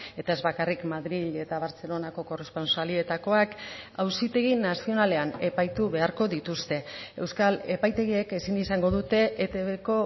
eta ez bakarrik madril eta bartzelonako korrespontsalietakoak auzitegi nazionalean epaitu beharko dituzte euskal epaitegiek ezin izango dute etbko